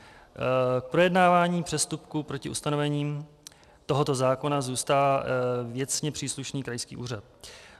K projednávání přestupků proti ustanovením tohoto zákona zůstal věcně příslušný krajský úřad.